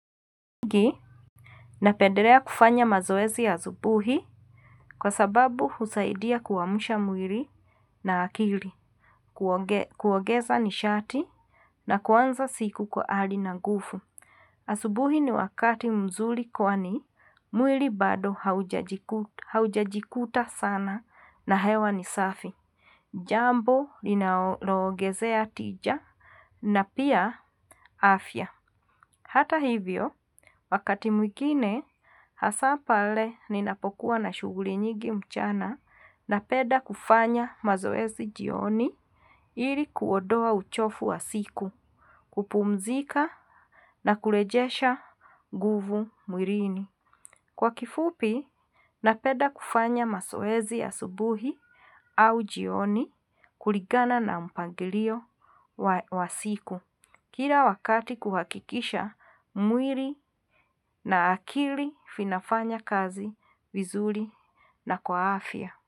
Napendelea kufanya mazoezi ya asubuhi. Kwasababu husaidia kuamsha mwili na akili. Kuongeza nishati na kuanza siku kwa ari na nguvu. Asubuhi ni wakati mzuri kwani mwili bado haujajikuta sana na hewa ni safi. Jambo linalo ongezea tija na pia afya hata hivyo. Wakati mwingine hasa pale ninapokuwa na shughuli nyingi mchana napenda kufanya mazoezi jioni ili kuondoa uchofu wa siku, kupumzika na kulejesha nguvu mwilini. Kwa kifupi, napenda kufanya mazoezi ya subuhi au jioni kulingana na mpangilio wa siku. Kila wakati kuhakikisha mwili na akili vinafanya kazi vizuri na kwaafya.